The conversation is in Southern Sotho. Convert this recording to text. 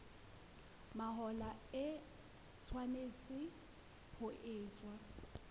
mahola e tshwanetse ho etswa